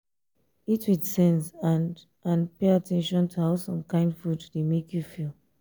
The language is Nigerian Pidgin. eat with sense and and pay at ten tion to how some kind food dey make you feel